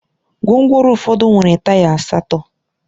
Gwongworo ụfọdụ nwere taya asatọ